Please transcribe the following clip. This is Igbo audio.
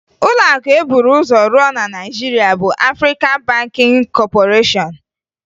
Ụlọakụ e buru ụzọ rụọ na Naịjirịa bụ Afrịkan Bankịn Kọpọreshọn